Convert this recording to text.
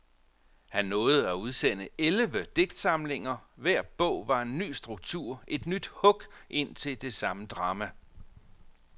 Han nåede at udsende elleve digtsamlinger, hver bog var en ny struktur, et nyt hug ind til det samme drama.